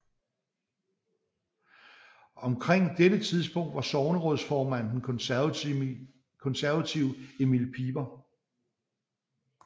Omkring dette tidspunkt var sognerådsformanden den konservative Emil Piper